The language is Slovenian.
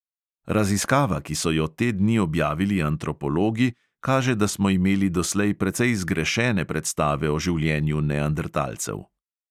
Raziskava, ki so jo te dni objavili antropologi, kaže, da smo imeli doslej precej zgrešene predstave o življenju nendertalcev.